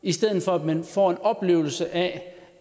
i stedet for at man får en oplevelse af